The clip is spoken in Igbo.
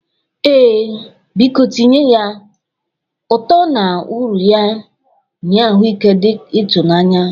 Ee, biko tinye ya. Ụtọ na uru ya nye ahụike dị ịtụ n'anya.